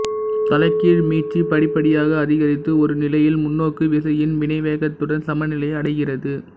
தலைகீழ் மீட்சி படிப்படியாக அதிகரித்து ஒரு நிலையில் முன்னோக்கு விசையின் வினைவேகத்துடன் சமநிலையை அடைகிறது